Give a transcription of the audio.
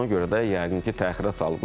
Ona görə də yəqin ki, təxirə salıblar.